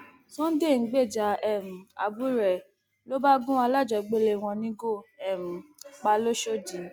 sunday ń gbèjà um àbúrò ẹ ló bá gun alájọgbélé wọn nígò um pa lọsọdì